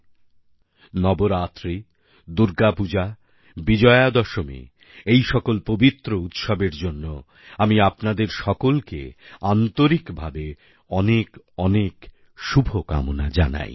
আমার প্রিয় দেশবাসী নবরাত্রি দুর্গাপূজা বিজয়াদশমী এই সকল পবিত্র উৎসবের জন্য আমি আপনাদের সকলকে আন্তরিকভাবে অনেক অনেক শুভকামনা জানাই